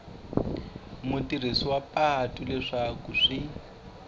mutirhisi wa patu leswaku swi